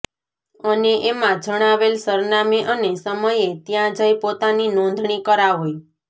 અને એમાં જણાવેલ સરનામે અને સમયે ત્યાં જઈ પોતાની નોંધણી કરાવે